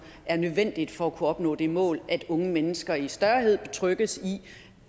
er nødvendig for at kunne opnå det mål at unge mennesker i større grad betrygges